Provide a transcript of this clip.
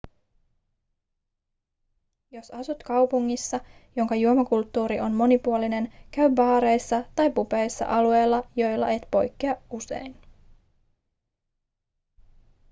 jos asut kaupungissa jonka juomakulttuuri on monipuolinen käy baareissa tai pubeissa alueilla joilla et poikkea usein